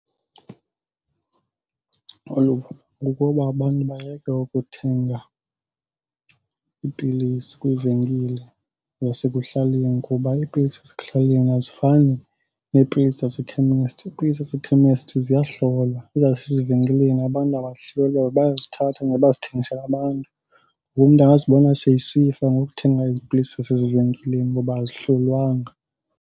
Uluvo kukuba abantu bayeke ukuthenga iipilisi kwiivenkile zasekuhlaleni kuba iipilisi zasekuhlaleni azifani neepilisi zasekhemesti. Iipilisi zasekhemesti ziyahlolwa, ezasezivenkileni abantu abazihloli, bayazithatha nje bazithengisele abantu. Ngoku umntu angazibona sesifa ngokuthenga ezi pilisi zasezivenkileni ngoba azihlolwanga.